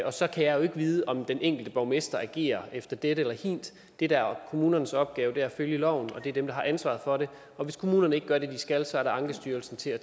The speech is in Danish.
og så kan jeg jo ikke vide om den enkelte borgmester agerer efter dette eller hint det der er kommunernes opgave er at følge loven det er dem der har ansvaret for det og hvis kommunerne ikke gør det de skal så er der ankestyrelsen til at